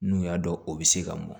N'u y'a dɔn u bɛ se ka mɔn